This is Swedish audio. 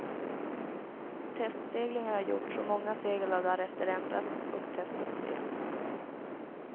Testseglingar har gjorts och många segel har därefter ändrats och testats igen.